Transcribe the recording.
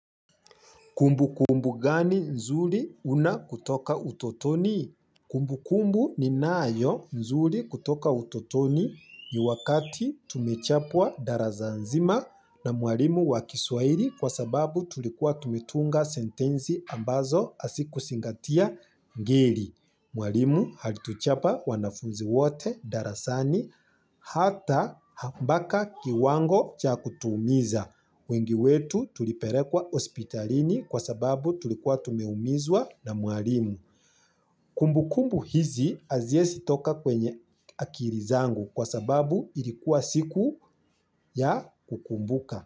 Kumbukumbu gani nzuri una kutoka utotoni? Kumbukumbu ninayo nzuri kutoka utotoni ni wakati tumechapwa darasa nzima na mwalimu wa kiswahili kwa sababu tulikuwa tumetunga sentensi ambazo hazikuzingatia ngeli. Mwalimu alituchapa wanafunzi wote darasani hata mbaka kiwango cha kutuumiza. Wengi wetu tulipelekwa hospitalini kwa sababu tulikuwa tumeumizwa na mwalimu. Kumbukumbu hizi haziwezi toka kwenye akili zangu kwa sababu ilikuwa siku ya kukumbuka.